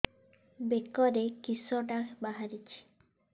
ବେକରେ କିଶଟା ବାହାରିଛି